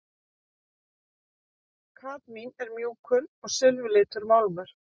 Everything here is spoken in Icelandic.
Kadmín er mjúkur og silfurlitur málmur.